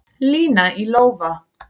Lína í lófa